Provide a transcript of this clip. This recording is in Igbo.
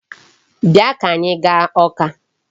Bịa ka anyị gaa Awka.